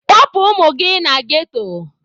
Kpọpụ ụmụ gị na ghetto!.